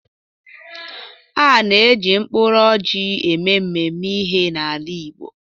A na-eji mkpụrụ ọjị eme mmemme ihe n'ala Igbo.